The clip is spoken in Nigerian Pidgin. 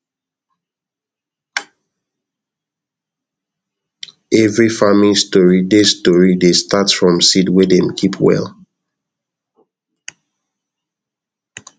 every farming story dey story dey start from seed wey dem keep well